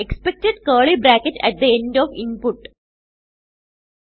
expected curly bracket at the end of input